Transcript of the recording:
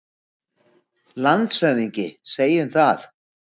LANDSHÖFÐINGI: Segjum það.